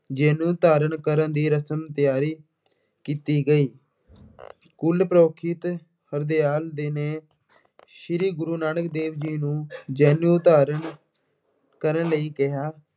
ਜਨੇਊ ਧਾਰਨ ਕਰਨ ਦੀ ਰਸਮ ਤਿਆਰੀ ਕੀਤੀ ਗਈ। ਕੁੱਲ ਪੁਰੋਹਿਤ ਹਰਦਿਆਲ ਜੀ ਨੇ ਸ੍ਰੀ ਗੁਰੂ ਨਾਨਕ ਦੇਵ ਜੀ ਨੂੰ ਜਨੇਊ ਧਾਰਨ ਕਰਨ ਲਈ ਕਿਹਾ।